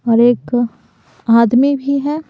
और एक आदमी भी है।